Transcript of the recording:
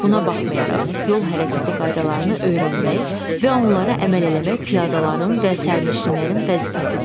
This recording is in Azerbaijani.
Buna baxmayaraq, yol hərəkəti qaydalarını öyrənmək və onlara əməl eləmək piyadaların və sərnişinlərin vəzifəsidir.